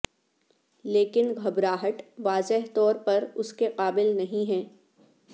لیکن گھبراہٹ واضح طور پر اس کے قابل نہیں ہے